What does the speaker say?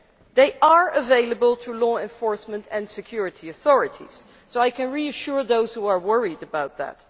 They are available to law enforcement and security authorities, so I can reassure those who are worried about that.